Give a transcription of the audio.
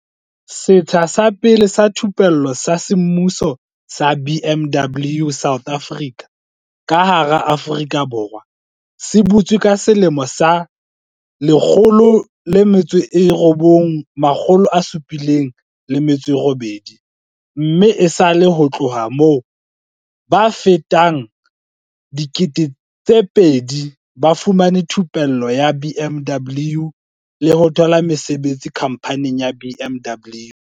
"Setsha sa pele sa thupello sa semmuso sa BMW South Africa ka hara Aforika Borwa se butswe ka selemo sa 1978 mme esale ho tloha moo, ba fetang 2 000 ba fumane thupello ya BMW le ho thola mesebetsi khamphaning ya BMW."